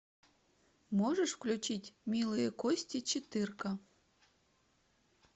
можешь включить милые кости четырка